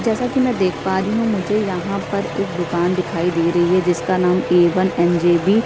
जैसा कि मैं देख पा रही हूँ मुझे यहाँ पर एक दुकान दिखाई दे रही है जिसका नाम A one M J B --